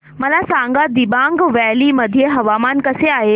मला सांगा दिबांग व्हॅली मध्ये हवामान कसे आहे